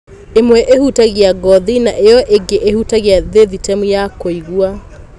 Ĩmwe ĩhutagia ngothi na ĩo ĩngĩ ĩhutagia thĩthĩtemu ya kũigua.